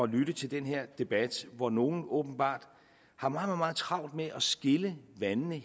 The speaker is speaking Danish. lytte til den her debat hvor nogle åbenbart har meget meget travlt med at skille vandene